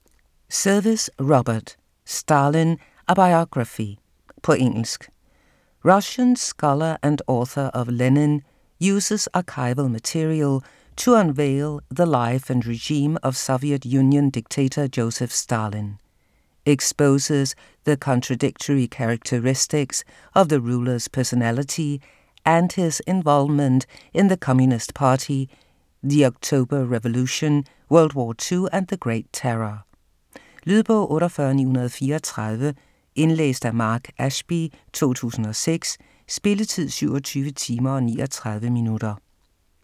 Service, Robert: Stalin: a biography På engelsk. Russian scholar and author of Lenin uses archival material to unveil the life and regime of Soviet Union dictator Joseph Stalin. Exposes the contradictory characteristics of the ruler's personality and his involvement in the Communist Party, the October Revolution, World War II, and the Great Terror. Lydbog 48934 Indlæst af Mark Ashby, 2006. Spilletid: 27 timer, 39 minutter.